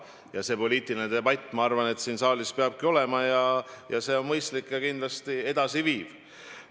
Ja poliitiline debatt, ma arvan, saalis peabki olema, see on mõistlik ja kindlasti edasiviiv.